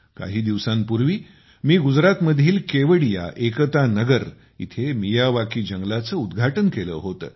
काही दिवसांपूर्वी मी गुजरातमधील केवडिया एकता नगर येथे मियावाकी जंगलाचे उद्घाटन केले होते